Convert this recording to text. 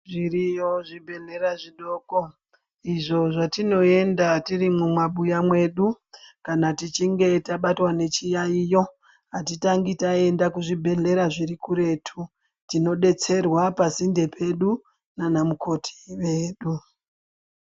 Zviriyo zvibhehleya zvidoko izvo zvatinoenda tirimwo mumabuya medu kana tichinge tabatwa nechiyayiyo atitangi taenda kuzvibhehleya zviri kuretu tinodetsereka pasinde pedu ndana mukoti vedu.